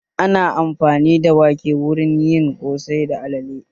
Ana amfani da wake wurin yin ƙosai da alale